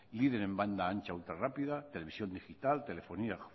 líder en banda ancha ultrarrápida televisión digital telefonía